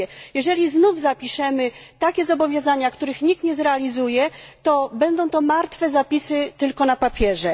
Jeżeli znów zapiszemy takie zobowiązania, których nikt nie zrealizuje, będą to martwe zapisy, tylko na papierze.